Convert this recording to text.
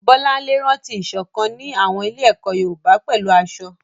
Bolanle rántí ìṣọ̀kan ní àwọn ilé-ẹ̀kọ́ Yorùbá pẹ̀lú aṣọ.